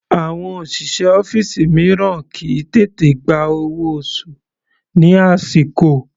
Àwọn òṣìṣẹ́ ọ́fìsì mìíràn kìí tètè gba owó oṣù ní àsìkò.